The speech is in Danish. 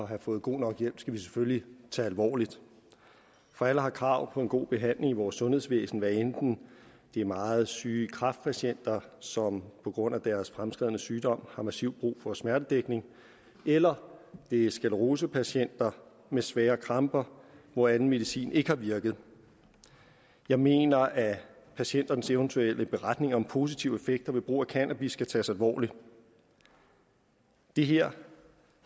have fået god nok hjælp skal vi selvfølgelig tage alvorligt for alle har krav på en god behandling i vores sundhedsvæsen hvad enten det er meget syge kræftpatienter som på grund af deres fremskredne sygdom har massivt brug for smertedækning eller det er sklerosepatienter med svære kramper hvor anden medicin ikke har virket jeg mener at patienternes eventuelle beretning om positive effekter ved brug af cannabis skal tages alvorligt det her